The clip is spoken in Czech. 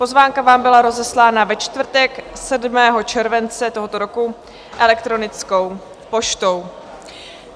Pozvánka vám byla rozeslána ve čtvrtek 7. července tohoto roku elektronickou poštou.